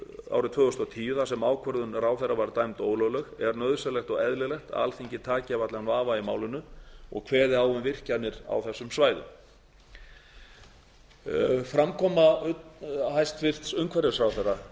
árið tvö þúsund og tíu þar sem ákvörðun ráðherra var dæmd ólögleg er nauðsynlegt og eðlilegt að alþingi taki af allan vafa í málinu og kveði á um virkjanir á þessum svæðum framkoma hæstvirtur umhverfisráðherra